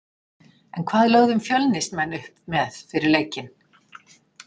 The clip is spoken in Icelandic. En hvað lögðum Fjölnismenn upp með fyrir leikinn?